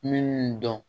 Minnu dɔn